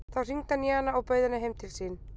Þá hringdi hann í hana og bauð henni heim til sín.